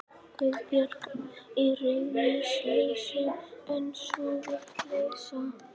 Guðbjörg. í reiðileysi, en sú vitleysa.